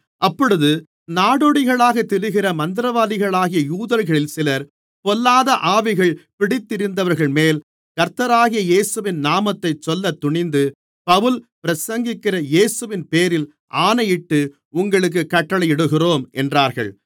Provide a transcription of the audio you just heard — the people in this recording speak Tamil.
அப்பொழுது நாடோடிகளாகத் திரிகிற மந்திரவாதிகளாகிய யூதர்களில் சிலர் பொல்லாத ஆவிகள் பிடித்திருந்தவர்கள்மேல் கர்த்தராகிய இயேசுவின் நாமத்தைச் சொல்லத் துணிந்து பவுல் பிரசங்கிக்கிற இயேசுவின்பேரில் ஆணையிட்டு உங்களுக்குக் கட்டளையிடுகிறோம் என்றார்கள்